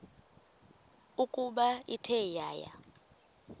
ukuba ithe yaya